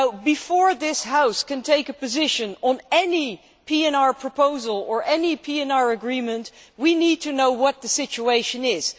Before this House can take a position on any PNR proposal or any PNR agreement, we need to know what the situation is.